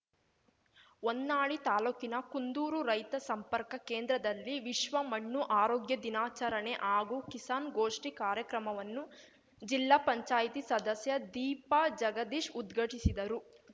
ಹೊನ್ನಾಳಿ ತಾಲೂಕಿನ ಕುಂದೂರು ರೈತ ಸಂಪರ್ಕ ಕೇಂದ್ರದಲ್ಲಿ ವಿಶ್ವ ಮಣ್ಣು ಆರೋಗ್ಯ ದಿನಾಚರಣೆ ಹಾಗೂ ಕಿಸಾನ್‌ಗೋಷ್ಠಿ ಕಾರ್ಯಕ್ರಮವನ್ನು ಜಿಲ್ಲಾ ಪಂಚಾಯ್ತಿ ಸದಸ್ಯ ದೀಪಾ ಜಗದೀಶ್‌ ಉದ್ಘಟಿಸಿದರು